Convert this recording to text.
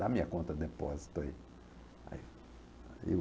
Dá a minha conta de depósito aí. Aí, aí o